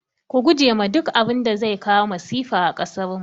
Ku guje ma duk abinda zai kawo masifa a kasarmu